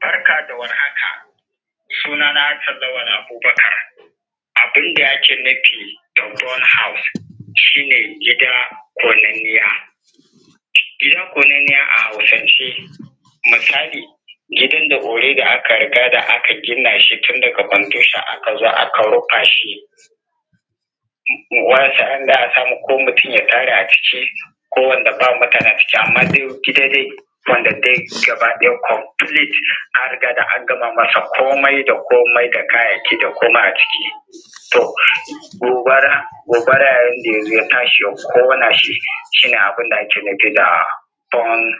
Barka da warhaka! Sunana Hassan Lawal Abubakar. Abun da ake nufi da burnt house shi ne, gida ƙonanniya. Gida ƙonanniya a Hausance misali, gidan da already aka riga da aka gina shi tun daga foundation aka zo aka rufa shi, wa'ansu wa'anda za a samu mutum ya tare a ciki, ko wanda ba mutane a ciki amma dai gida dai, wanda dai gabaɗaya complete an riga da an gama masa komai da komai da kayayyaki da komai a ciki, to, gobara, gobara yayin da ya zo ya tashi ya ƙona shi, shi ne abun da ake nufi da burnt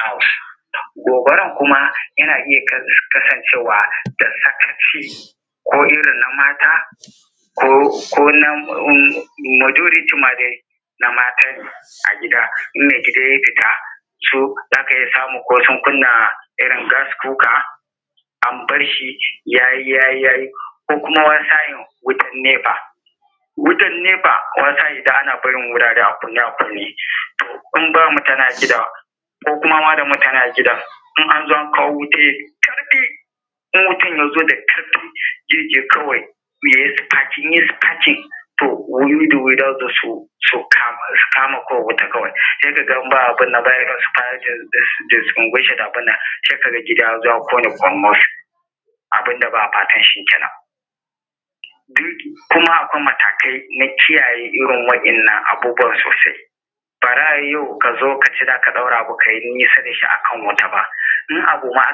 house. Gobaran kuma yana iya kasancewa da sakaci, ko irin mata, ko, ko na um majority ma dai, na mata a gida, in maigida ya fita su za ka iya samu ko sun kunna irin gas cooker, an bar shi ya yi, ya yi, ko kuma wata sa'in wutan NEPA. Wutan NEPA, wani sa'in na barin wurare a kunne a kunne, to, in ba mutane a gidan, ko kuma da mutane a gidan, in an zo an kawo wuta da ƙarfi, in wutan ya zo da ƙarfi, zai je kawai, in yai sparking, to wayoyi da wayoyi za su zo su kama kawai wuta kawai, sai ka ga in ba ai abun nan ba, sai su fara da distinguishing abun nan, sai ka ga gida ya zo ƙone ƙurmus, abun da ba a fatan shi ke nan. Kuma akwai matakai na kiyaye irin wa'innan abubuwa sosai. Ba za a yi yau ka zo ka ce za ka ɗora ka yi nisa da shi a wuta ba, in abu ma